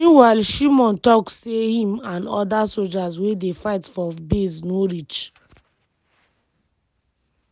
meanwhile shimon tok say im and oda sojas wey dey fight for base no reach.